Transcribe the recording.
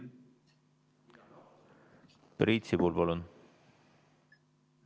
Priit Sibul, palun!